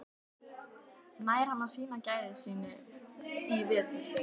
Nær hann að sýna gæði sín í vetur?